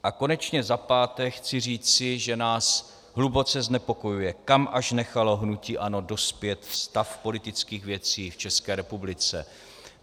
A konečně za páté chci říci, že nás hluboce znepokojuje, kam až nechalo hnutí ANO dospět stav politických věcí v České republice.